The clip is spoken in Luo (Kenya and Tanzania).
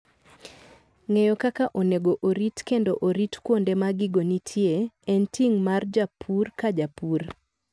Ng'eyo kaka onego orit kendo orit kuonde ma gigo nitie, en ting' mar japur ka japur.